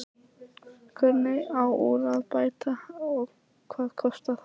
Hvernig á úr að bæta og hvað kostar það?